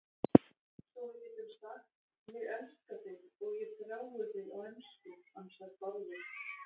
Svo við getum sagt, ég elska þig og ég þrái þig á ensku, ansar Bárður.